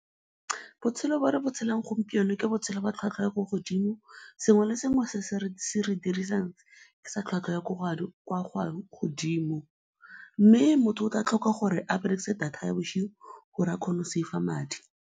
Botshelo jo re bo tshelang gompieno ke botshelo ba tlhwatlhwa ya ko godimo. Sengwe le sengwe dirisang ke sa tlhwatlhwa ya godimo mme motho o tla tlhoka gore a berekise data ya bosigo gore a kgone go save-a madi.